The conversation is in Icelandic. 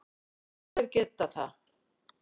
Já þeir geta það.